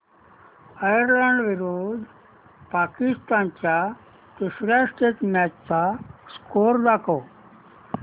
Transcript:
Ireland विरुद्ध पाकिस्तान च्या तिसर्या टेस्ट मॅच चा स्कोअर दाखवा